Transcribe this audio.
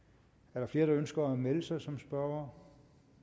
er der flere der ønsker at melde sig som spørgere